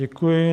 Děkuji.